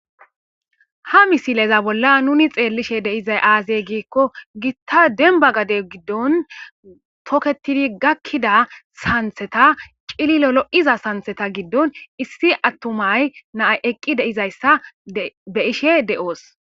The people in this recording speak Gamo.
Ha misileza bolla nuuni xeellishee de7izay aazee giikko giththa dembba gade giddon thokeththidi gakkida sanththetha cililo lo7iza sanththetha giddon issi aththuma na7ay eqqi de7izayssa be7ishee de7oos.